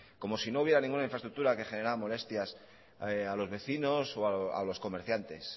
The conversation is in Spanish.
como si no hubiera ninguna infraestructura que generaran molestias a los vecinos o a los comerciantes